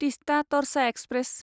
Teesta Torsha express